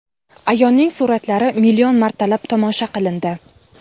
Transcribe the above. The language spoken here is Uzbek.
Ayoning suratlari million martalab tomosha qilindi.